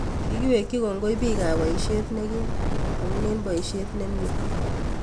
Kikiwekyi kongoi biikab boisyeet nekiim amun eng boisyeet nemye